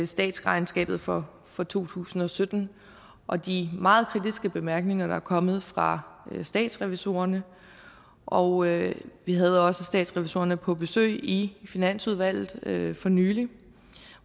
statsregnskabet for for to tusind og sytten og de meget kritiske bemærkninger der er kommet fra statsrevisorerne og vi havde også statsrevisorerne på besøg i finansudvalget for nylig